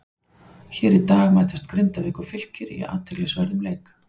Hér í dag mætast Grindavík og Fylkir í athyglisverðum leik.